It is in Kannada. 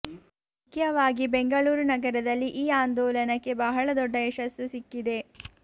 ಮುಖ್ಯವಾಗಿ ಬೆಂಗಳೂರು ನಗರದಲ್ಲಿ ಈ ಆಂದೋಲನಕ್ಕೆ ಬಹಳ ದೊಡ್ಡ ಯಶಸ್ಸು ಸಿಕ್ಕಿದೆ